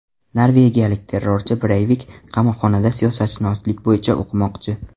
Norvegiyalik terrorchi Breyvik qamoqxonada siyosatshunoslik bo‘yicha o‘qimoqchi.